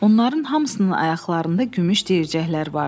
Onların hamısının ayaqlarında gümüş deyircəklər vardı.